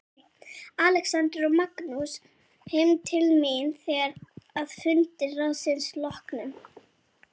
Alexander og Magnús heim til mín þegar að fundi ráðsins loknum.